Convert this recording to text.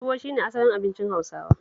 Tuwo shi ne asalin abincin Hausawa